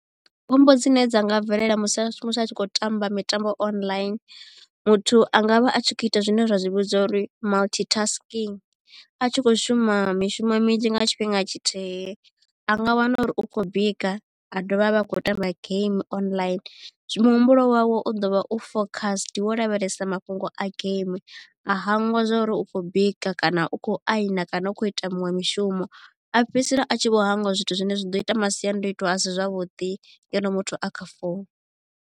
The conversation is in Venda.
Khombo dzine dza nga bvelela musi musi a tshi khou tamba mitambo online muthu a nga vha a tshi khou ita zwine ra zwi vhidza uri multi tasking a tshi kho shuma mishumo minzhi nga tshifhinga tshithihi. A nga wana uri u khou bika a dovha a vha a khou tamba game online muhumbulo wawe u ḓo vha u focused wo lavhelesa mafhungo a game a hangwa zwa uri u khou bika kana u khou aina kana u khou ita muṅwe mishumo a fhedzisela a tshi vho hangwa zwithu zwine zwa ḓo ita masiandoitwa a si zwavhuḓi ngeno muthu a kha founu.